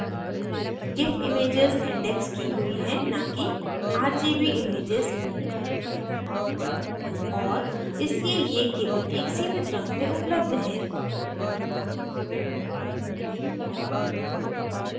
gif images indexed की हुई हैं न की rgb images और इसलिए ये केवल एक सीमित रंग में उपलब्ध हैं